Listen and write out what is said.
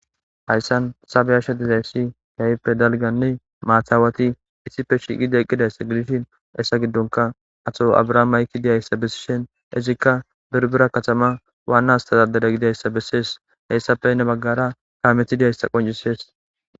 hayssan sabe yasha dizayssi yayppe dalganne maathaawati issife shiiqide eqqidayss gidishin essa giddonka ato abraham mayki diyayssa bessishen izikka birbira katama waannastazadeda gidayssa bessees hayssapeyne baggara daametidiyayssa qoncisees